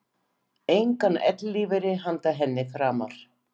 Engan ellilífeyri handa henni framar.